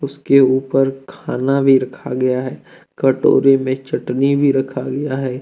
उसके ऊपर खाना भी रखा गया है कटोरे में चटनी भी रखा गया है।